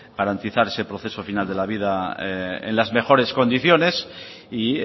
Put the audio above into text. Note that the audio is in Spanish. garantizar ese proceso final de la vida en las mejores condiciones y